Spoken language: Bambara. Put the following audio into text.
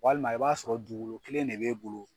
Walima i b'a sɔrɔ dugukolo kelen de b'e bolo